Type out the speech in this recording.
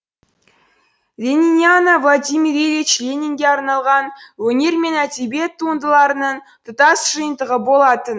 лениниана владимир ильич ленинге арналған өнер мен әдебиет туындыларының тұтас жиынтығы болатын